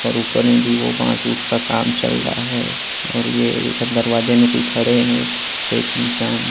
--और ऊपर मे भी वो बास ऊस का काम चल रहा है और ये इधर दरवाजे मे कोई खड़े है एक इंसान--